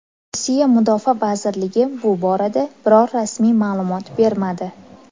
Rossiya mudofaa vazirligi bu borada biror rasmiy ma’lumot bermadi.